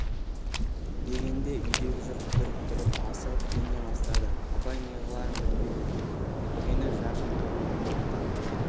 дегенде үйдегі жұрт дүрк тұрып асығып киіне бастады абай неғыларын білмеді үйткені жақып бұған орын тар